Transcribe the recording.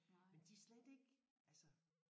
Men de slet ikke altså